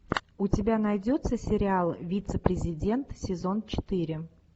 у тебя найдется сериал вицепрезидент сезон четыре